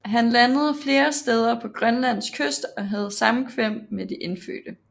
Han landede flere steder på Grønlands kyst og havde samkvem med de indfødte